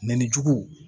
Mɛ ni jugu